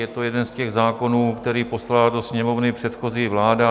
Je to jeden z těch zákonů, který poslala do Sněmovny předchozí vláda.